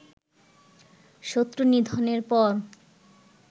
শত্রু নিধনের পর